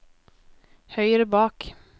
høyre bak